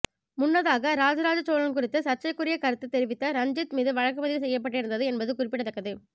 முன்னதாக ராஜராஜசோழன் குறித்து சர்ச்சைக்குரிய கருத்து தெரிவித்த ரஞ்சித் மீது வழக்குப்பதிவு செய்யப்பட்டிருந்தது என்பது குறிப்பிடத்தக்கது